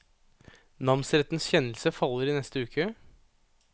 Namsrettens kjennelse faller i neste uke.